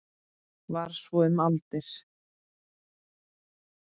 Var svo um aldir.